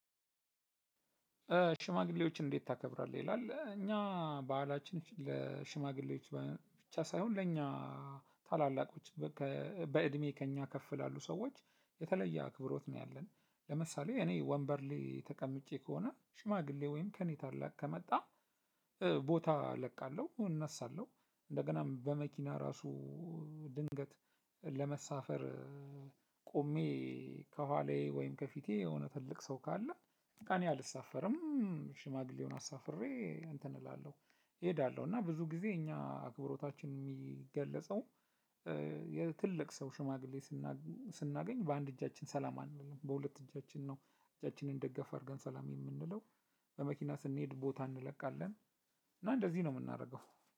ሽማግሌዎችን እንዴት ታከብራለ? ይላል እኛ ባህላችን ለሽማግሌዎች ብቻ ሳይሆን ለእኛ ታላላቆች በእድሜ ከእኛ ከፍ ያሉ ሰዎች የተለየ አክብሮት ነው። ያለን ለምሳሌ እኔ ወንበር ላይ ተቀምጬ ከሆነ ሽማግሌ ወይም ከኔ ታላቅ ከመጣ ቦታ እለቃለሁ እነሳለሁ። እንደገናም በመኪና እራሱ ድንገት ለመሳፈር ቆሜ ከኋላዬ ወይም ከፊቴ የሆነ ትልቅ ሰው ካለ እኔ አልሳፈርም። ሽማግሌውን አሳፍሬ እንትን እላለሁ እሄዳለሁ። እና ብዙ ጊዜ እኛ አክብሮታችን የሚገለጸው የትልቅ ሰው ሽማግሌ ስናገኝ በአንድ እጃችን ሰላም አንልም በሁለት እጃችን ነው እጃችንን ደገፍ አድርገን ሰላም የምንለው። በመኪና ስንሄድ ቦታ እንለቃለን። እና እንደዚህ ነው የምናደርገው።